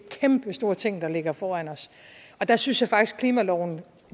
kæmpestore ting der ligger foran os og der synes jeg faktisk at klimaloven